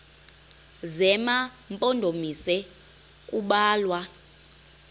zema mpondomise kubalwa